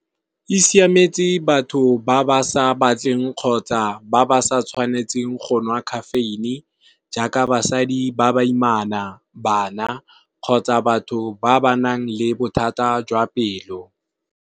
E siametse batho ba ba sa batleng kgotsa ba ba sa tshwanetseng go nwa caffeine jaaka basadi ba ba imana, bana kgotsa batho ba ba nang le bothata jwa pelo.